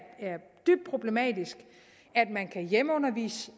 dybt problematisk at man kan hjemmeundervise